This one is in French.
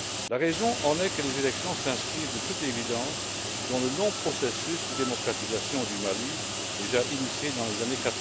La raison en est que les élections s'inscrivent, de toute évidence, dans le long processus de démocratisation du Mali, déjà initié dans les années